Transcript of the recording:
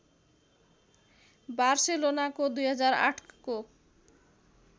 बार्सेलोनाको २००८ को